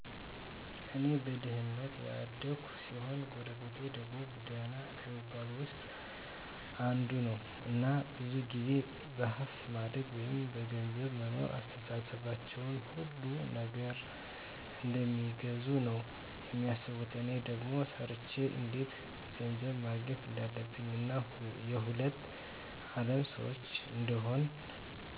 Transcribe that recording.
እኔ በድህነት ያደኩ ሲሆን ጎረቤቴ ደግሞ ደህና ከሚባሉት ዉስጥ አንዱ ነዉ እና ብዙ ጊዜ በሀብት ማደግ ወይም ገንዘብ መኖር አስተሳሰባቸዉ ሁሉን ነገር እንደሚገዙ ነዉ የሚያስቡት እኔ ደግሞ ሰርቸ እንዴት ገንዘብ ማግኘት እንዳለብኝ እና የሁለት አለም ሰዎች እንደሆን